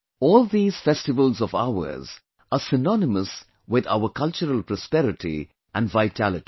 All these festivals of ours are synonymous with our cultural prosperity and vitality